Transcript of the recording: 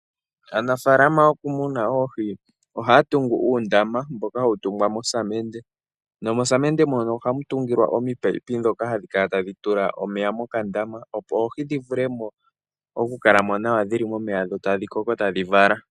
Aanafalama yokumuna oohi ohaya tungu uundama nosamende. Mosamende mono ohamu tungilwa oominino ndhoka hadhi kala tadhi tula omeya mokandama, opo oohi dhi kale momeya tadhi koko nokuvala.